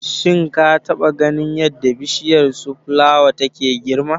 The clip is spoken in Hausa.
Shin ka taba ganin yadda Bishiyar Sun flawa take girma?